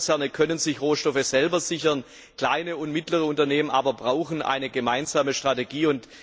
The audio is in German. Großkonzerne können sich Rohstoffe selber sichern, kleine und mittlere Unternehmen aber brauchen eine gemeinsame Strategie.